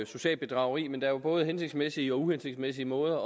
socialt bedrageri men der er både hensigtsmæssige og uhensigtsmæssige måder